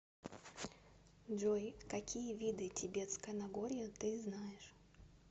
джой какие виды тибетское нагорье ты знаешь